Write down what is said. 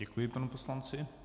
Děkuji panu poslanci.